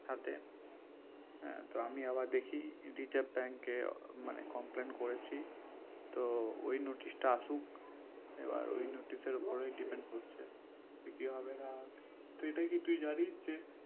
হাতে হ্যা তো আমি আবার দেখি রিজাভ bank এ মানে complain করেছি তো ওই notice টা আসুক এবার ওই notice এর ওপরে depend করছে কি হবে না হবে তো এটা কি তুই জানিস যে